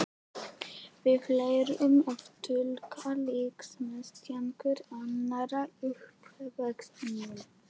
Við lærum að túlka líkamstjáningu annarra í uppvextinum.